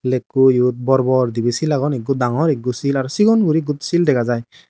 lekkoyot bor bor dibe sil agon ikko dangor iggo sil aro sigon guri ekko sil dega jai.